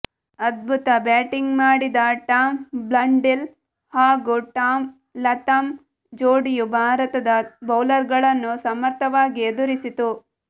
ಅದ್ಭುತ ಬ್ಯಾಟಿಂಗ್ ಮಾಡಿದ Tom Blundell ಹಾಗೂ ಟಾಮ್ ಲಥಾಮ್ ಜೋಡಿಯು ಭಾರತದ ಬೌಲರ್ಗಳನ್ನು ಸಮರ್ಥವಾಗಿ ಎದುರಿಸಿತು